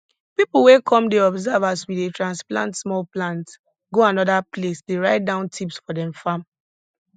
pipu wey come dey observe as we dey transplant small plants go anoda place dey write down tips for dem farm